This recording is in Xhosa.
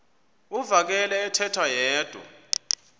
uvakele ethetha yedwa